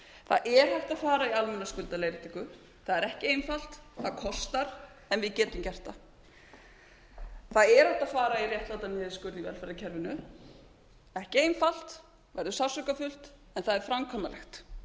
það er hægt að fara í almenna skuldaleiðréttingu það er ekki einfalt það kostar en við getum gert það það er hægt að fara í réttlátan niðurskurð í velferðarkerfinu ekki einfalt það verður sársaukafullt en það er framkvæmanlegt